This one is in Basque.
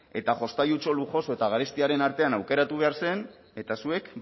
eta jostailutxo lujoso eta garestiaren artean aukeratu behar zen eta zuek